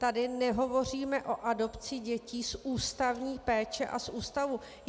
Tady nehovoříme o adopci dětí z ústavní péče a z ústavu.